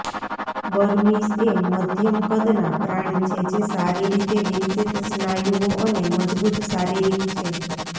Burmese એ મધ્યમ કદના પ્રાણી છે જે સારી રીતે વિકસિત સ્નાયુઓ અને મજબૂત શારીરિક છે